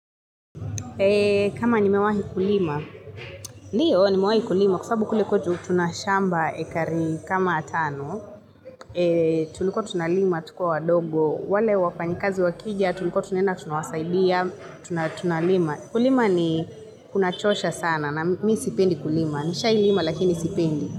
Kama nimewahi kulima, ndiyo nimewai kulima kwa sababu kule kwetu tunashamba hekari kama tano, tulikua tunalima tukiwa wadogo, wale wafanyikazi wakija tulikua tunaenda tunawasaidia, tunalima. Kulima ni kunachosha sana na mi sipendi kulima, nishawahi lima lakini sipendi.